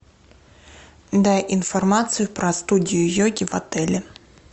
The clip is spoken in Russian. дай информацию про студию йоги в отеле